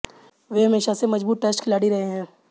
वे हमेशा से मजबूत टेस्ट खिलाड़ी रहे हैं